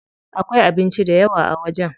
Akwai abinci dayawa a wajen.